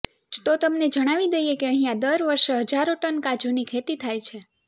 તો તમને જણાવી દઈએ કે અહિયાં દર વર્ષે હજારો ટન કાજુની ખેતી થાય છે